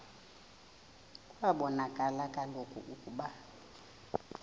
kwabonakala kaloku ukuba